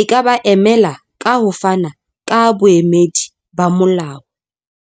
e ka ba emela, ka ho fana ka boemedi ba molao.